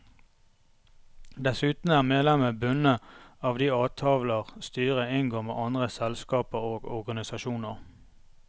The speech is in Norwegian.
Dessuten er medlemmet bundet av de avtaler styret inngår med andre selskaper og organisasjoner.